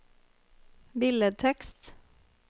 billedtekst